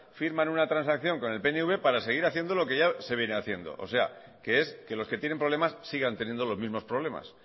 firman una transacción con el pnv para seguir haciendo lo que ya se viene haciendo o sea que es que los que tienen problemas sigan teniendo los mismos problemas